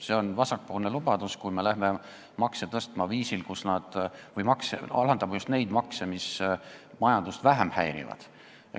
See on vasakpoolne lubadus, kui alandatakse just neid makse, mis majandust vähem häirivad.